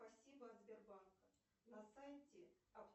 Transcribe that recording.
спасибо от сбербанка на сайте